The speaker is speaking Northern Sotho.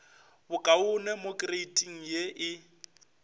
bokaone mo kreiting ye e